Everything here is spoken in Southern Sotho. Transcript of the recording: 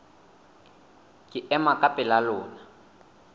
ke ema ka pela lona